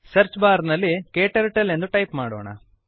search bar ನಲ್ಲಿ ಕ್ಟರ್ಟಲ್ ಎಂದು ಟೈಪ್ ಮಾಡೋಣ